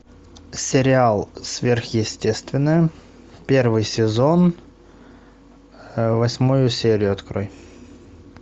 сериал сверхъестественное первый сезон восьмую серию открой